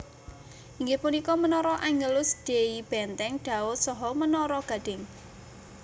Inggih punika menara Angelus Dei Benteng Daud saha Menara Gading